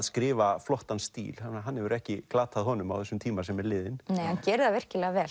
skrifa flottan stíl hann hefur ekki glatað honum á þessum tíma sem er liðinn nei hann gerir það virkilega vel